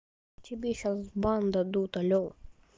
тебе сейчас в бан дадут алло